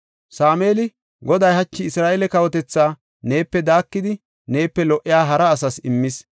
Sameeli, “Goday hachi Isra7eele kawotethaa neepe daakidi neepe lo77iya hara asas immis.